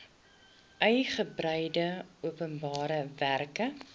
uigebreide openbare werke